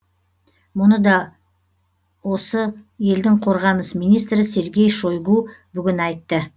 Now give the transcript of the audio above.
мұны да осы елдің қорғаныс министрі сергей шойгу бүгін айтты